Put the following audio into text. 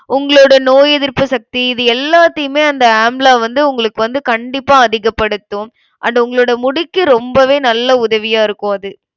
உங்களோட நோய் எதிர்ப்பு சக்தி இது எல்லாத்தையுமே அந்த amla வந்து உங்களுக்கு வந்து கண்டிப்பா அதிகப்படுத்தும். அது உங்களோட முடிக்கு ரொம்பவே நல்ல உதவியா இருக்கும் அது